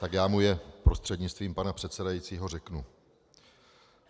Tak já mu je prostřednictvím pana předsedajícího řeknu.